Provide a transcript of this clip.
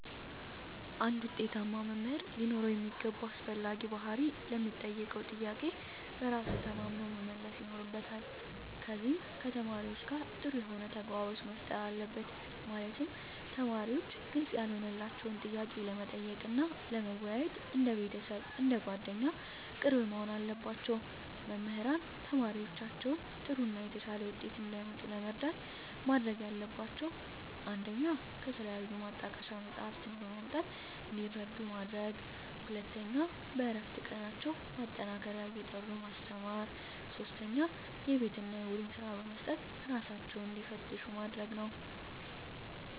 አንድ ውጤታማ መምህር ሊኖረው የሚገባ አስፈላጊ ባህሪ ለሚጠየቀው ጥያቄ በራሱ ተማምኖ መመለስ ይኖርበታል ከዚም ከተማሪዎቹ ጋር ጥሩ የሆነ ተግባቦት መፍጠር አለበት ማለትም ተማሪዎች ግልጽ ያልሆነላቸውን ጥያቄ ለመጠየቅ እና ለመወያየት እንደ ቤተሰብ አንደ ጓደኛ ቅርብ መሆን አለባቸው። መምህራን ተማሪዎቻቸውን ጥሩ እና የተሻለ ውጤት እንዲያመጡ ለመርዳት ማድረግ ያለባቸው 1 ከተለያዩ ማጣቀሻ መፅሃፍትን በማምጣት እንዲረዱ ማድረግ 2 በእረፍት ቀናቸው ማጠናከሪያ እየጠሩ ማስተማር 3 የቤት እና የቡድን ስራ በመስጠት እራሳቸውን እንዲፈትሹ ማድረግ ነው